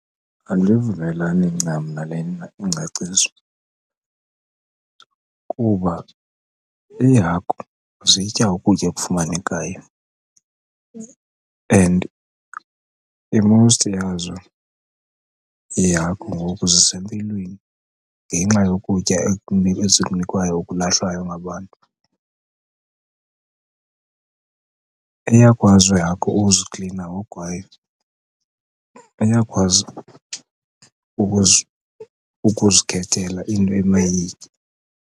Andivumelani ncam nalena ingcaciso, kuba iihagu zitya ukutya okufumanekayo and i-most yazo iihagu ngoku zisempilweni ngenxa yokutya ezikunikwayo okulahlwayo ngabantu. Iyakwazi ihagu ukuziklina ngoku kwayo, iyakwazi ukuzikhethela into emayiyitye.